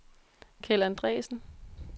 Keld Andresen